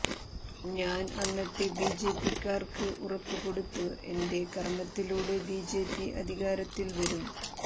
ഞാൻ അന്നത്തെബിജെപിക്കാർക്ക് ഉറപ്പ് കൊടുത്തു എന്റെ കർമ്മത്തിലൂടെ ബിജെപി അധികാരത്തിൽ വരും